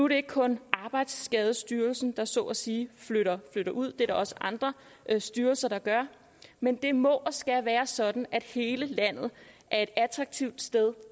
det ikke kun arbejdsskadestyrelsen der så at sige flytter flytter ud det er der også andre styrelser der gør men det må og skal være sådan at hele landet er et attraktivt sted